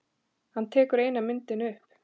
Hann tekur eina myndina upp.